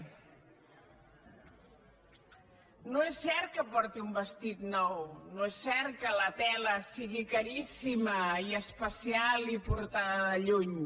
no és cert que porti un vestit nou no és cert que la tela sigui caríssima i especial i portada de lluny